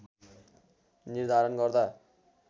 निर्धारण गर्दा